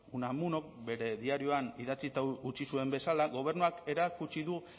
unamunok bere diarioan idatzita utzi zuen bezala gobernuak erakutsi du